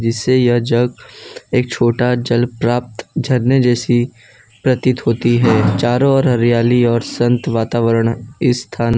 से यह जग एक छोटा जल प्राप्त झरने जैसी प्रतीत होती है चारों ओर हरियाली और संत वातावरण स्थान--